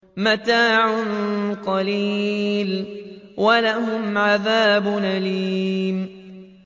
مَتَاعٌ قَلِيلٌ وَلَهُمْ عَذَابٌ أَلِيمٌ